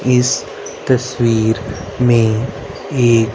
इस तस्वीर में एक--